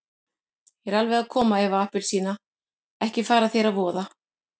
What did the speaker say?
Ég er alveg að koma Eva appelsína, ekki fara þér að voða.